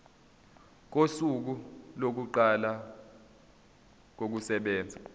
kosuku lokuqala kokusebenza